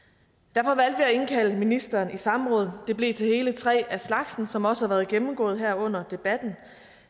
derfor at indkalde ministeren i samråd det blev til hele tre af slagsen som også har været gennemgået her under debatten